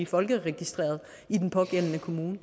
folkeregistreret i den pågældende kommune